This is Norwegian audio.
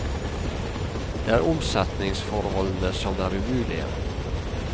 Det er omsetningsforholdene som er umulige.